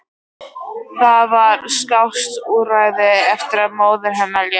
Það var skásta úrræðið eftir að móðir hennar lést.